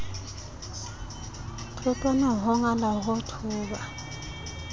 thotwana ho ngala ho thoba